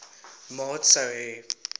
maat sou hê